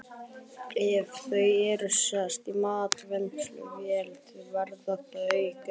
Ef þau eru sett í matvinnsluvél verða þau grá.